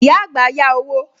Ìyá àgbà yá owó